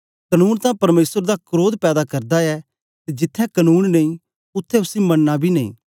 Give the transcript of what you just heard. कनून तां परमेसर दा क्रोध पैदा करदा ऐ ते जिथें कनून नेई उत्थें उसी मननां बी नेई